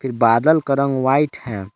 बादल का रंग व्हाइट है।